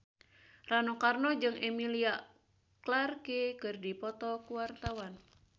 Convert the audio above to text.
Rano Karno jeung Emilia Clarke keur dipoto ku wartawan